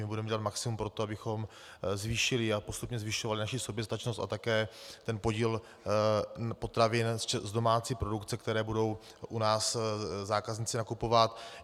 My budeme dělat maximum pro to, abychom zvýšili a postupně zvyšovali naši soběstačnost a také ten podíl potravin z domácí produkce, které budou u nás zákazníci nakupovat.